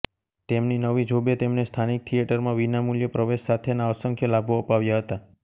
તેમની નવી જોબે તેમને સ્થાનિક થિયેટરમાં વિનામૂલ્યે પ્રવેશ સાથેના અસંખ્ય લાભો અપાવ્યા હતા